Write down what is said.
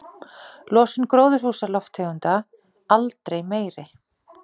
Losun gróðurhúsalofttegunda aldrei meiri